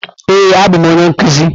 Ee, abụ m onye nkuzi.